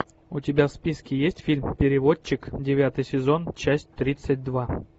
у тебя в списке есть фильм переводчик девятый сезон часть тридцать два